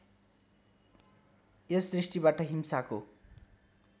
यस दृष्टिबाट हिंसाको